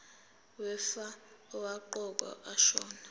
wefa owaqokwa ashona